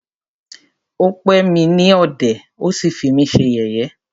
Ó pè mí ní ọ̀dẹ̀,ó sí fí mí ṣe yẹ̀yé.